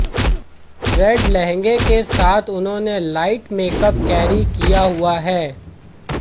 red लहंगे के साथ उन्होंने लाइट मेकअप कैरी किया हुआ हैं